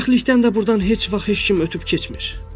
Bədbəxtlikdən də burdan heç vaxt heç kim ötüb keçmir.